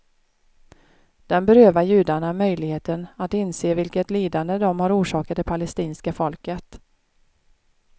Den berövar judarna möjligheten att inse vilket lidande de har orsakat det palestinska folket.